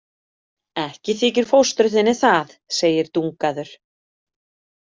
Ekki þykir fóstru þinni það, segir Dungaður.